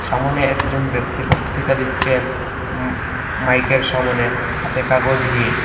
সামোনে একজন ব্যক্তি বক্তৃতা দিচ্ছেন উম মাইকের সামোনে হাতে কাগজ নিয়ে।